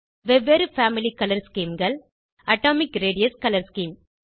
வெவ்வேறு family colour schemeகள் atomic radius colour scheme